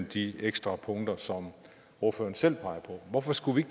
de ekstra punkter som ordføreren selv peger på hvorfor tager vi